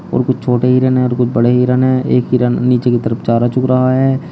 और कुछ छोटे हिरन है और कुछ बड़े हिरन है। एक हिरन नीचे की तरफ चारा चूक रहा है।